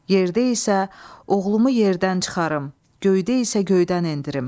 Yerdə isə oğlumu yerdən çıxarım, göydə isə göydən endirim.